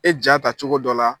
E ja ta cogo dɔ la